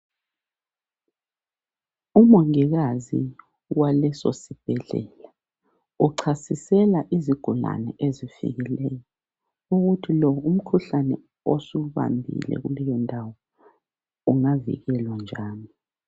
Umongikazi waleso sibhedlela uchasisela izigulane ezifikileyo ukuthi lo umkhuhlane osubambile kuleyondawo ungavikelwa njani.